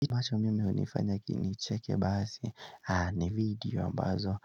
Kitu ambacho mimi hunifanya nicheke basi ni video ambazo